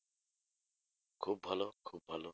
খুব ভালো খুব ভালো।